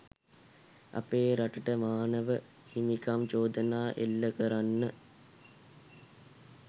අපේ රටට මානව හිමිකම් චෝදනා එල්ල කරන්න